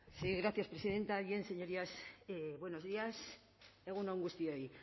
sí gracias presidenta bien señorías buenos días egun on guztioi